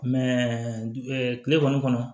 kile kɔnɔ